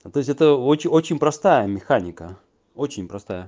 тоесть это очень очень простая механика очень простая